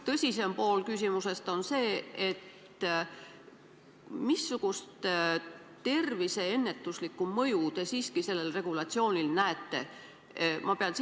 Tõsisem pool küsimusest aga on, missugust ennetuslikku mõju rahva tervisele te selle eelnõu puhul näete?